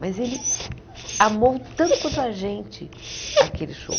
Mas ele amou tanto quanto a gente aquele show.